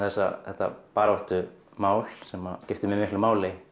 þetta baráttumál sem skiptir mig miklu máli